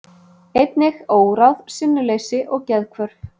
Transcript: Einnig óráð, sinnuleysi og geðhvörf.